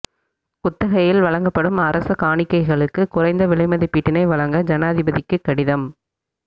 குத்தகையில் வழங்கப்படும் அரச காணிகளுக்கு குறைந்த விலை மதிப்பீட்டினை வழங்க ஜனாதிபதிக்கு கடிதம்